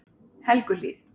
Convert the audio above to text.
Helguhlíð